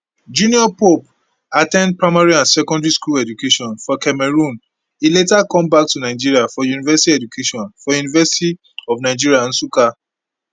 junior pope at ten d primary and secondary school education for cameroon e later come back to nigeria for university education for university of nigeria nsukka